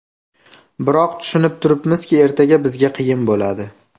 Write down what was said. Biroq, tushunib turibmizki, ertaga bizga qiyin bo‘ladi.